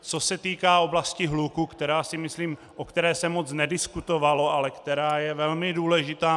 Co se týká oblasti hluku, o které se moc nediskutovalo, ale která je velmi důležitá.